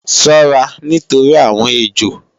Ṣọ́ra nítorí àwọn ejò!